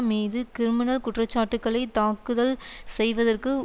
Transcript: மீது கிரிமினல் குற்றச்சாட்டுக்களை தாக்குதல் செய்வதற்கு